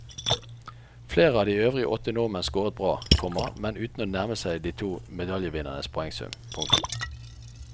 Flere av de øvrige åtte nordmenn scoret bra, komma men uten å nærme seg de to medaljevinnernes poengsum. punktum